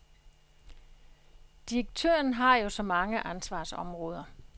Direktøren har jo så mange ansvarsområder.